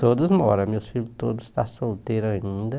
Todos moram, meus filhos todos estão solteiros ainda.